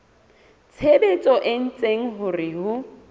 tshebetso e etsang hore ho